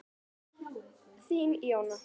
Þín, Jóna.